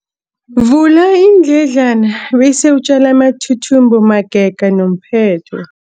Vula iindledlana bese utjale amathuthumbo magega nomphetho.